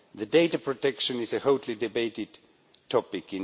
Data protection is a hotly debated topic.